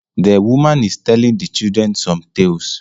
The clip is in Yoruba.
The woman is telling the children some tales